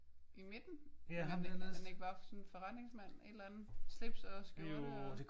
I midten? Er han ikke bare sådan forretningsmand? Et eller andet slips og skjorte og?